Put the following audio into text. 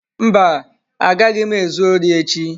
Mba, agaghị m ezu ori echi.